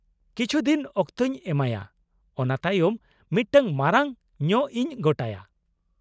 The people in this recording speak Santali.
ᱠᱤᱪᱷᱩ ᱫᱤᱱ ᱚᱠᱛᱚᱧ ᱮᱢᱟᱭᱟ ᱚᱱᱟ ᱛᱟᱭᱚᱢ ᱢᱤᱫᱴᱟᱝ ᱢᱟᱨᱟᱝ ᱧᱚᱜ ᱤᱧ ᱜᱚᱴᱟᱭᱟ ᱾